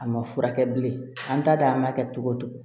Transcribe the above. A ma furakɛ bilen an t'a dɔn a ma kɛ cogo o cogo